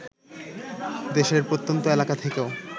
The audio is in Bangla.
দেশের প্রত্যন্ত এলাকা থেকেও